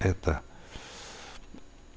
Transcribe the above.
это